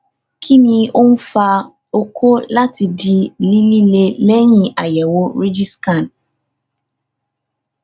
kí ni ó ń fa okó láti di lílelí lẹyìn àyẹwò rigiscan